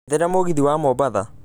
njethera mũgithi wa mombatha